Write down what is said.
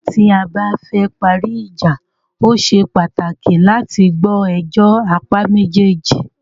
Nígbà tí a bá fẹ parí ìjà,o ṣe pàtàkì láti gbọ́ ẹjọ́ apá méjèèjì.